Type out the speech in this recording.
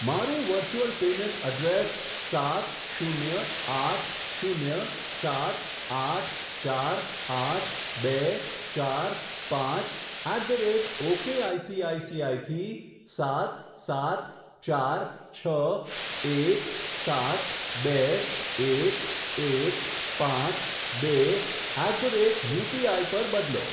મારું virtual payment address સાત શૂન્ય આઠ શૂન્ય સાત આઠ ચાર આઠ બે ચાર પાંચ at the rate okay ICICI થી સાત સાત ચાર છ એક સાત બે એક એક પાંચ બે એટ ધ રેટ યુપીઆઈ પર બદલો.